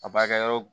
A baarakɛyɔrɔ